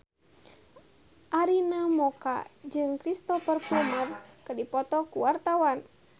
Arina Mocca jeung Cristhoper Plumer keur dipoto ku wartawan